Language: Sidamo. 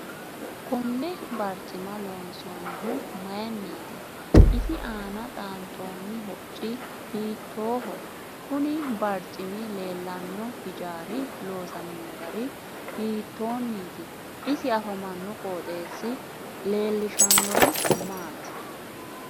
Konne barcima loonsoonihu mayiiniiti isi aana xaanxooni hocci hiitooho kuni barcimi leelanno hijaari loosamino gari hiitooniti isi afamanno qooxeesi leelishannori maati